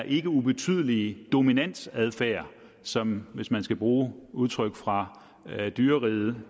ikke ubetydelige dominante adfærd som hvis man skal bruge et udtryk fra dyreriget